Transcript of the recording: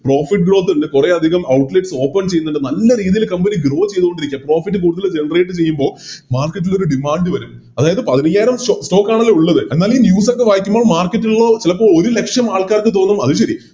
Profit growth ഇണ്ട് കൊറേയധികം Outlets open ചെയ്യുന്നുണ്ട് നല്ല രീതില് Company grow ചെയ്തോണ്ടിരിക്ക Profit കൂടുതല് Generate ചെയ്യുമ്പോ Market ലോര് Demand വരും അതായത് പതിനയ്യായിരം Stock ആണല്ലോ ഉള്ളത് എന്നാലി News ഒക്കെ വായിക്കുമ്പോ Market ഉള്ള ചെലപ്പോ ഒരു ലക്ഷം ആൾക്കാർക്ക് തോന്നും അത് ശെരി